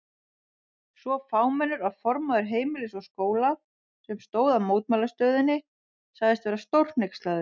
Svo fámennur að formaður Heimilis og Skóla, sem stóð að mótmælastöðunni sagðist vera stórhneykslaður.